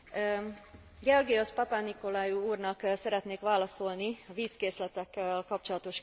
Georgios Papanikolaou úrnak szeretnék válaszolni a vízkészletekkel kapcsolatos kérdésére.